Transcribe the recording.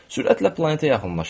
Sürətlə planetə yaxınlaşırdıq.